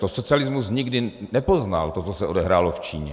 To socialismus nikdy nepoznal, to, co se odehrálo v Číně.